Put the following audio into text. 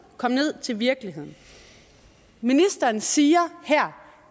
komme ned til virkeligheden ministeren siger her